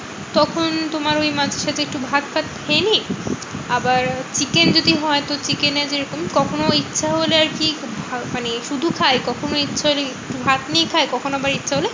তখন তোমার ওই মাছটা দিয়ে একটু ভাত তাত খেয়ে নিই। আবার chicken যদি হয়? তো chicken এ যেরকম কখনো ইচ্ছা হলে আরকি মানে শুধু খাই। কখনো ইচ্ছা হলে একটু ভাত নিয়ে খাই। কখনো বা ইচ্ছা হলে